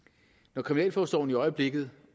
når kriminalforsorgen i øjeblikket